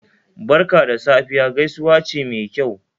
"Barka da Safiya" gaisuwa ce Mai kyau